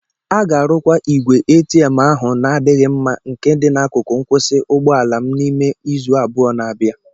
A ga-arụkwa igwe ATM ahu na-adịghị mma nke dị n'akụkụ nkwụsị ụgbọ ala m n'ime izu abụọ n'abia